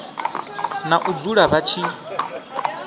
na u dzula vha tshi